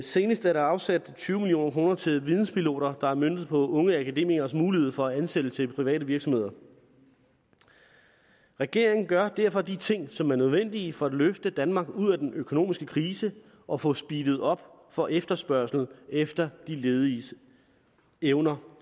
senest er der afsat tyve million kroner til videnspiloter der er møntet på unge akademikeres mulighed for ansættelse i private virksomheder regeringen gør derfor de ting som er nødvendige for at løfte danmark ud af den økonomiske krise og få speedet op for efterspørgslen efter de lediges evner